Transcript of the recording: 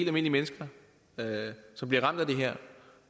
almindelige mennesker som bliver ramt af det her